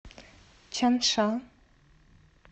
чанша